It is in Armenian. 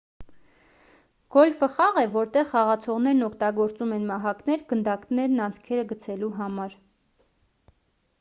գոլֆը խաղ է որտեղ խաղացողներն օգտագործում են մահակներ գնդակներն անցքերը գցելու համար